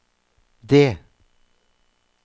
D